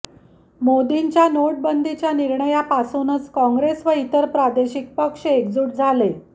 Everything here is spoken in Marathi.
मोदींच्या नोटाबंदीच्या निर्णयापासूनच काँग्रेस व इतर प्रादेशिक पक्ष एकजूट झाले